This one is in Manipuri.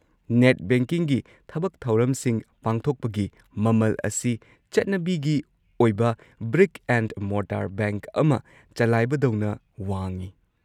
ꯅꯦꯠ ꯕꯦꯡꯀꯤꯡꯒꯤ ꯊꯕꯛ-ꯊꯧꯔꯝꯁꯤꯡ ꯄꯥꯡꯊꯣꯛꯄꯒꯤ ꯃꯃꯜ ꯑꯁꯤ ꯆꯠꯅꯕꯤꯒꯤ ꯑꯣꯏꯕ ꯕ꯭ꯔꯤꯛ-ꯑꯦꯟ-ꯃꯣꯔꯇꯥꯔ ꯕꯦꯡꯛ ꯑꯃ ꯆꯂꯥꯏꯕꯗꯧꯅ ꯋꯥꯡꯢ꯫